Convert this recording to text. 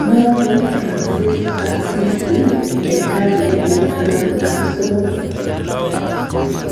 Noton Francis Assisi en karne nebo taman am somok